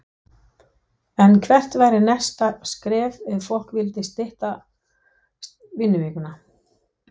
En hvert væri næsta skref ef fólk vill stytta vinnuvikuna?